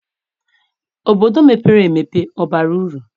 Obodo mepere emepe abara uru?